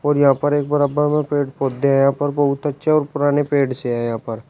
और यहां पर एक बराबर में पेड़ पौधे हैं पर बहुत अच्छे और पुराने पेड़ से है यहां पर।